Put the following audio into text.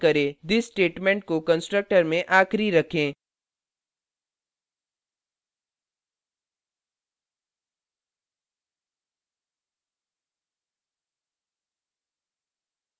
this statement को constructor में आखिरी रखें